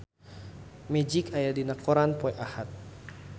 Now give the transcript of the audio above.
Magic aya dina koran poe Ahad